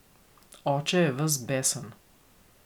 Oče je ves besen.